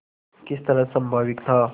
किस तरह स्वाभाविक था